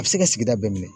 A bɛ se ka sigida bɛɛ minɛ